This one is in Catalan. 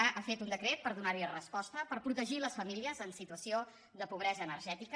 ha fet un decret per do·nar·hi resposta per protegir les famílies en situació de pobresa energètica